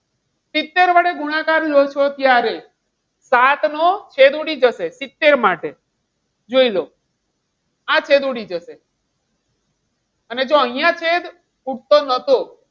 સિત્તેર વડે ગુણાકાર લો છો ત્યારે સાત નો છેદ ઉડી જશે. સિત્તેર માટે જોઈ લો. આ છેદ ઉડી જશે. અને જો અહીંયા છે ઉપર નતો,